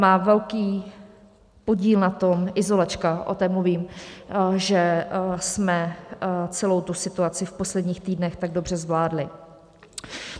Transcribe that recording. Má velký podíl na tom, izolačka, o té mluvím, že jsme celou situaci v posledních týdnech tak dobře zvládli.